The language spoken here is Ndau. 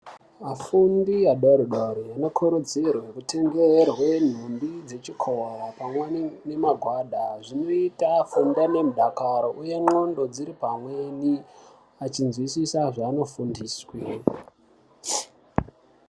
Vafundi vadoridori anokurudzirwe kutengerwe nhumbi dzechikora pamweni ngemagwada. Zvinoita afunde nemudakaro achinzwisisa zvaanofundiswe.